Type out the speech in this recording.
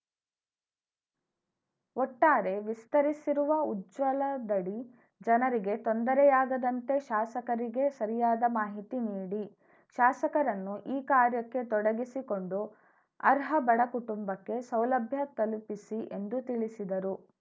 ಒಟ್ಟಾರೆ ವಿಸ್ತರಿಸಿರುವ ಉಜ್ವಲದಡಿ ಜನರಿಗೆ ತೊಂದರೆಯಾಗದಂತೆ ಶಾಸಕರಿಗೆ ಸರಿಯಾದ ಮಾಹಿತಿ ನೀಡಿ ಶಾಸಕರನ್ನೂ ಈ ಕಾರ್ಯಕ್ಕೆ ತೊಡಗಿಸಿಕೊಂಡು ಅರ್ಹ ಬಡ ಕುಟುಂಬಕ್ಕೆ ಸೌಲಭ್ಯ ತಲುಪಿಸಿ ಎಂದು ತಿಳಿಸಿದರು